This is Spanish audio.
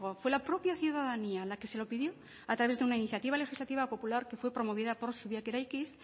fue la propia ciudadanía la que se lo pidió a través de una iniciativa legislativa popular que fue promovida por eraikiz